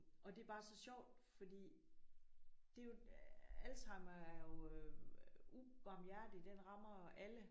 Og det er bare så sjovt fordi det er jo Alzheimer er jo ubarmhjertig den rammer alle